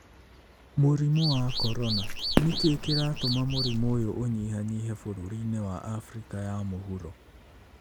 Mũrimũ wa Corona: Nĩ kĩĩ kĩratũma mũrimũ ũyũ ũnyihanyihe bũrũriinĩ wa Afrika ya Mũhuro?